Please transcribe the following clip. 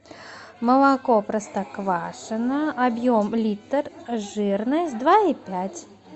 молоко простоквашино объем литр жирность два и пять